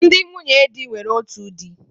Ndị nwunye di nwere otu di.